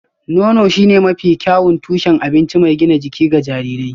Nono shine mafi kyawun tushen abinci mai gina jiki ga jarirai